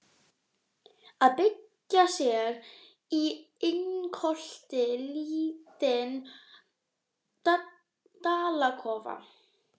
Að byggja sér í lyngholti lítinn dalakofa.